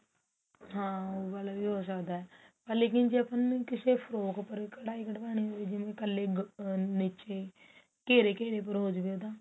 ਹਾਂ ਉਹ ਵਾਲਾਂ ਵੀ ਹੋ ਸਕਦਾ ਹੈ ਪਰ ਲੇਕਿਨ ਜ਼ੇ ਕਿਸੇ ਫਰੋਕ ਪਰ ਕਢਾਈ ਕੰਢਾਣੀ ਹੋਵੇ ਜਿਵੇਂ ਕੱਲੇ ਨੀਚੇ ਘੇਰੇ ਘੇਰੇ ਪਰ ਹੋ ਜਵੇ ਉਹਦਾ